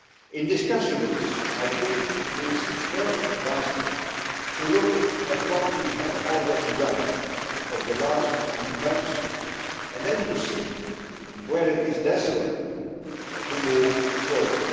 In discussing this, I think it is first advisable to look at what we have already done over the last 20 months and then to see where it is desirable to move further.